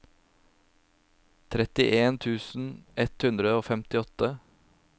trettien tusen ett hundre og femtiåtte